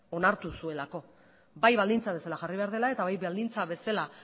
onartu zuelako bai baldintza bezala jarri behar dela eta bai baldintza bezala